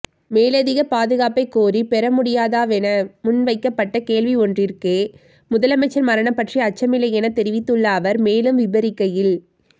மேலதிக பாதுகாப்பைக் கோரிப் பெறமுடியாதாவென முன்வைக்கப்பட்ட கேள்வியொன்றிற்கே முதலமைச்சர் மரணம் பற்றி அச்சமில்லையென தெரிவித்துள்ள அவர் மேலும் விபரிக்கையில்